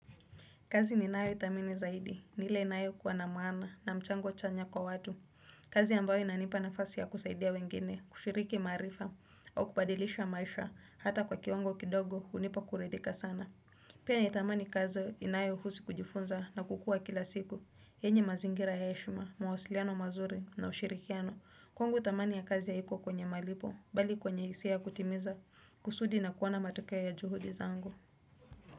Kazi ninayoithamini zaidi, ni ile inayokuwa na maana na mchango chanya kwa watu. Kazi ambayo inanipa nafasi ya kusaidia wengine, kushiriki maarifa, au kubadilisha maisha, hata kwa kiwango kidogo, hunipa kuridhika sana. Pia natamani kazi inayohusu kujifunza na kukua kila siku. Yenye mazingira ya heshma, mwasiliano mazuri na ushirikiano. Kwangu thamani ya kazi ya haiko kwenye malipo, bali kwenye hisia ya kutimiza kusudi na kuona matokeo ya juhudi zangu.